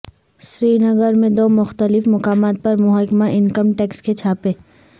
سری نگر میں دو مختلف مقامات پر محکمہ انکم ٹیکس کے چھاپے